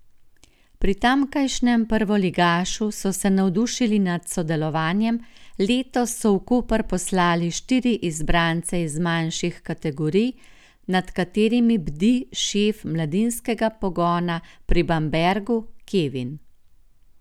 Pri tamkajšnjem prvoligašu so se navdušili nad sodelovanjem, letos so v Koper poslali štiri izbrance iz mlajših kategorij, nad katerimi bdi šef mladinskega pogona pri Bambergu, Kevin.